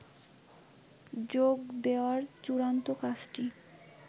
যোগ দেয়ার চূড়ান্ত কাজটি